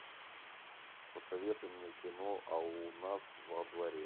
посоветуй мне кино а у нас во дворе